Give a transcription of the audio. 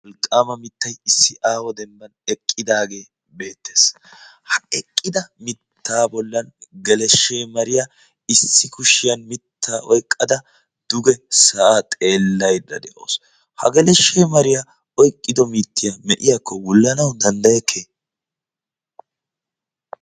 wolqqaama mittay issi aaho dembban eqqidaagee beettees. ha eqqida mittaa bollan geleshshe mariyaa issi kushiyan mitta oyqqada duge sa7aa xeellaydda de7auwussu. ha geleshshee mariyaa oyqqido mittiyaa me7iyaakko wullanawu danddayekke?